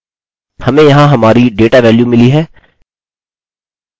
हमें यहाँ हमारी डेटा वेल्यू मिली है